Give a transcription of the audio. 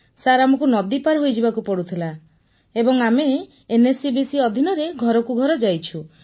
sir ଆମକୁ ନଦୀ ପାର ହୋଇ ଯିବାକୁ ପଡୁଥିଲା ଏବଂ ସାର୍ ଆମେ ଏନଏଚସିଭିସି ଅଧିନରେ ଘରକୁ ଘର ଯାଇଛୁ